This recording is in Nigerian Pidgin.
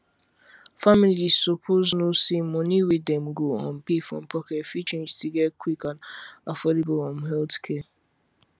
families suppose know say money wey dem go um pay from pocket fit change to get quick and affordable um healthcare